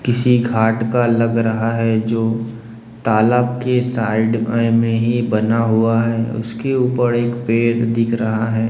किसी घाट का लग रहा है जो तालाब के साइड अह में ही बना हुआ है उसके ऊपर एक पेड़ दिख रहा है।